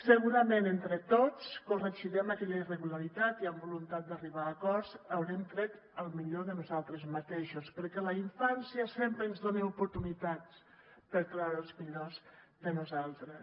segurament entre tots corregirem aquella irregularitat i amb voluntat d’arribar a acords haurem tret el millor de nosaltres mateixos perquè la infància sempre ens dona oportunitats per treure el millor de nosaltres